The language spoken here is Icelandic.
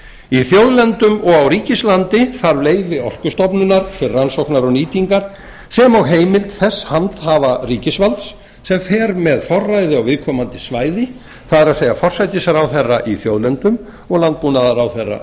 í þjóðlendum og á ríkislandi þarf leyfi orkustofnunar til rannsókna og nýtingar sem og heimild þess handhafa ríkisvalds sem fer með forræði á viðkomandi svæði það er forsætisráðherra í þjóðlendum og landbúnaðarráðherra á